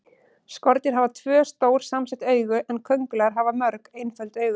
Skordýr hafa tvö, stór samsett augu en kóngulær hafa mörg, einföld augu.